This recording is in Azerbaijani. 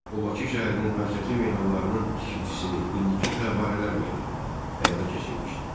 O Bakı şəhərinin mərkəzi meydanlarının tikintisini, indiki Fəvvarələr meydanı, həyata keçirmişdi.